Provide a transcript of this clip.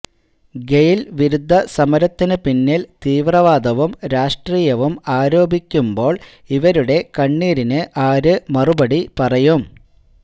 ഗെയിൽ വിരുദ്ധ സമരത്തിന് പിന്നിൽ തീവ്രവാദവും രാഷ്ട്രീയവും ആരോപിക്കുമ്പോൾ ഇവരുടെ കണ്ണീരിന് ആര് മറുപടി പറയും